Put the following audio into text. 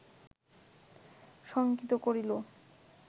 শঙ্কিত করিল